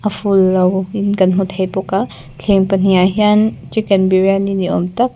in kan hmu thei bawk a thleng pahnih ah hian chicken biriyani ni awm tak--